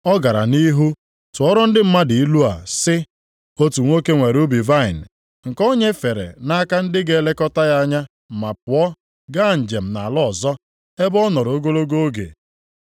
Ọ gara nʼihu tụọrọ ndị mmadụ ilu a sị, “Otu nwoke nwere ubi vaịnị, nke o nyefere nʼaka ndị ga-elekọta ya anya ma pụọ gaa njem nʼala ọzọ ebe ọ nọrọ ogologo oge.